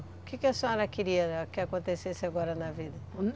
O quê que a senhora queria que acontecesse agora na vida?